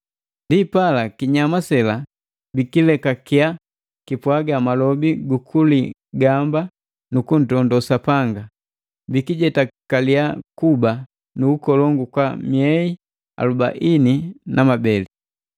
Ndipala kinyama sela bikilekakia kipwaga malobi gu kuligamba nu kuntondo Sapanga; bikijetakaliya kuba nu ukolongu kwa miei alubaini na mabeli.